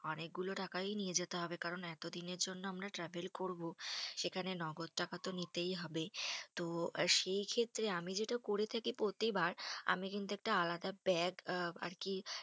অনেকগুলো টাকাই নিয়ে যেতে হবে। কারণ এতদিনের জন্য আমরা travel করবো, সেখানে নগদ টাকা তো নিতেই হবে। তো সেইক্ষেত্রে আমি যেটা করে থাকি প্রতিবার, আমি কিন্তু একটা আলাদা bag আর কি